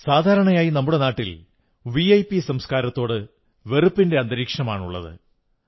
സാധാരണയായി നമ്മുടെ നാട്ടിൽ വിഐപി സംസ്കാരത്തോട് വെറുപ്പിന്റെ അന്തരീക്ഷമാണുള്ളത്